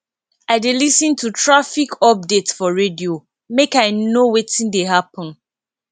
i dey lis ten to traffic update for radio make i know wetin dey happen